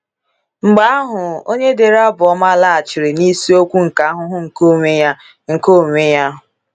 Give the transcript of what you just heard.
Mgbe ahụ, onye dere Abụ Ọma laghachiri n’isiokwu nke ahụhụ nke onwe ya. nke onwe ya.